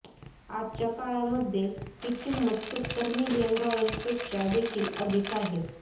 आजच्या काळामध्ये ही किंमत सत्तर मिलियन डॉलर्सपेक्षा देखील अधिक आहे